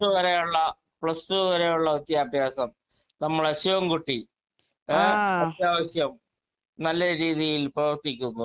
speaker 2 plus two വരെയുള്ള plus two വരെയുള്ള വിദ്യാഭ്യാസം നമ്മുടെ ശിവൻ കുട്ടി അത്യാവശ്യം നല്ല രീതിയിൽ പ്രവർത്തിക്കുന്നു